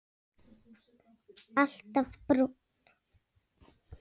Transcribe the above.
Alltaf brúnn.